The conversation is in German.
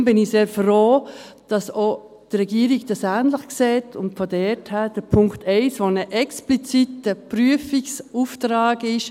Deshalb bin ich sehr froh, dass dies auch die Regierung ähnlich sieht und von daher den Punkt 1 annimmt, der ein expliziter Prüfungsauftrag ist.